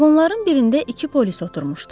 Vaqonların birində iki polis oturmuşdu.